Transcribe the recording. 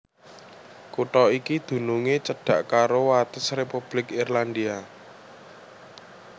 Kutha iki dunungé cedhak karo wates Republik Irlandia